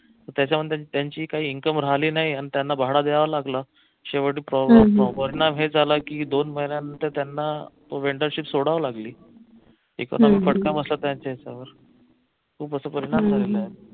त्याच्यामुळे त्यांची काही income राहिली नाही आणि त्यांना भाडं द्यावं लागलं शेवट परिणाम हेच झाला की दोन महिन्यानंतर त्यांना vendor ship सोडावी लागली फटका बसला त्यांच्या याच्यावर खूप असे परिणाम झालेले आहे